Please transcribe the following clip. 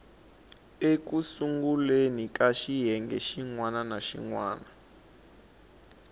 sunguleni ka xiyenge xin wana